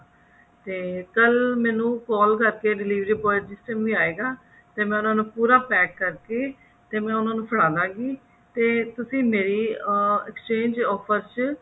ਤੇ ਕੱਲ ਮੈਨੂੰ ਕੱਲ ਕਰਕੇ delivery boy ਜਿਸ time ਵੀ ਆਇਗਾ ਤੇ ਮੈਂ ਉਹਨਾ ਨੂੰ ਪੂਰਾ pack ਕਰਕੇ ਤੇ ਮੈਂ ਉਹਨਾਂ ਨੂੰ ਫੜਾ ਦਵਾਂਗੀ ਤੇ ਤੁਸੀਂ ਮੇਰੀ ਅਮ exchange offer ਚ